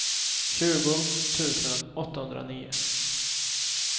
tjugo tusen åttahundranio